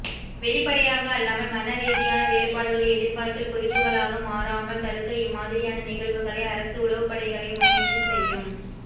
வெளிப்படையாக அல்லாமல் மன ரீதியான வேறுபாடுகள் எதிர்காலத்தில் கொதிப்புகளாக மாறாமல் தடுக்க இம்மாதிரியான நிகழ்வுகளை அரசு உளவுப்படைகளே முன்னின்று செய்யும்